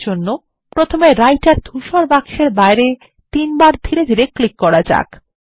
এর জন্য প্রথমে রাইটার ধূসর বাক্স এর বাইরে তিনবার ধীরে ধীরে ক্লিক করা যাক